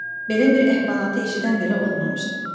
Belə bir əhvalatı eşidən belə olmamışdı.